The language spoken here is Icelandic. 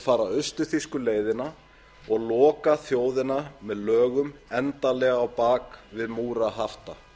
fara austur þýsku leiðina og loka þjóðina með lögum endanlega á bak við múra hafta